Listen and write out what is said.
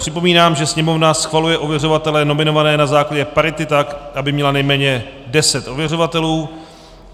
Připomínám, že Sněmovna schvaluje ověřovatele nominované na základě parity tak, aby měla nejméně deset ověřovatelů.